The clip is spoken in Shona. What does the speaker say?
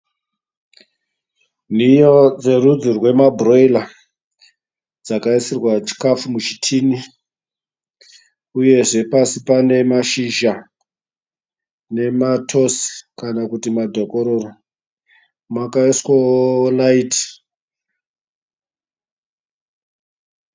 Nhiyo dzerudzi rwemabhuroira dzakaisirwa chikafu muchitini uyezve pasi panemashizha nematosi kana kuti madhokororo, makaiswawo raiti.